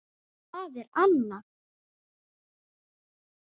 Það er annað